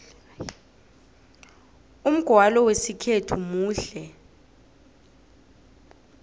umgwalo wesikhethu muhle